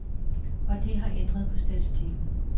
Og det har ændret på statistikken.